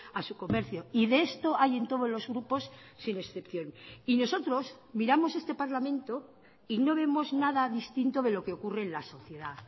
a su comercio y de esto hay en todos los grupos sin excepción y nosotros miramos este parlamento y no vemos nada distinto de lo que ocurre en la sociedad